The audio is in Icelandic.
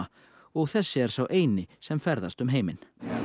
og þessi er sá eini sem ferðast um heiminn